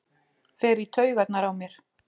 Fer í taugarnar á mér.